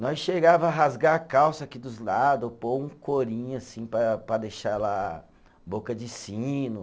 Nós chegava a rasgar a calça aqui dos lado, pôr um corinho assim para para deixar ela boca de sino.